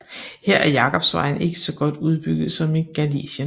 Her er Jakobsvejen ikke så godt udbygget som i Galicien